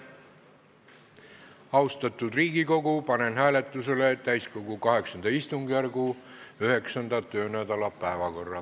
Austatud Riigikogu, panen hääletusele täiskogu VIII istungjärgu 9. töönädala päevakorra.